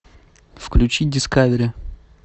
включи дискавери